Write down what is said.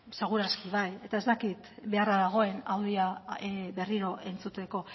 seguraski bai eta ez dakit beharra dagoen audioa berriro entzuteko